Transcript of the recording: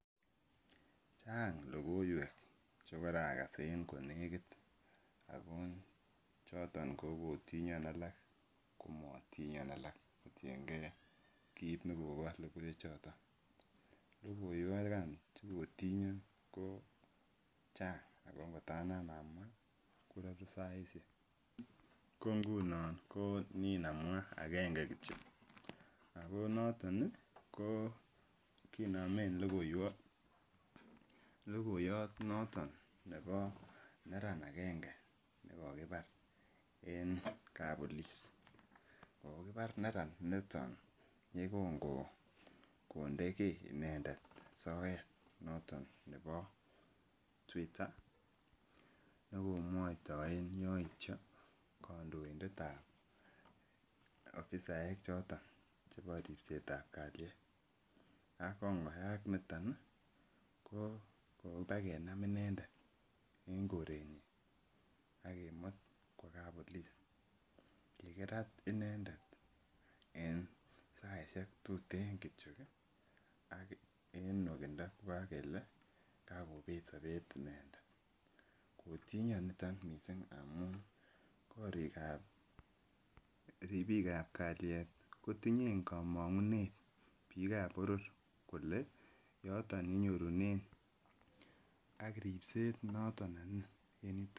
Chang lokoiwek chekorakas en konekit ako choton ko kotinyon alak komotinyon alak kotienge kiit nekobo lokoiwe choton, lokoiwek an chekotinyon ko chang ak ko kotanam amwaa kororu saishek, ko ngunon nen amwa akenge kitio ak ko noton ko kinomen lokoyot noton nebo neran akenge nekokibar en kapolis kokibar neran niton yekon konde kii inendet soet noton nebo twitter nekomwoitoen yoityo kondointetab ofisaek choton chebo ribsetab kaliet ak kongoyak niton kobakenam inendet en korenyin ak kimut kwo kapolis, kikirat inendet en saishek tuten kitio ak en nwokindo ko kokele kakobet sobet, inendet kotinyon niton mising amun korikab ribikab kalyet kotinye komongunet bikab bororkolee yoton yenyorunen ak ribset noton ne nin en yoton.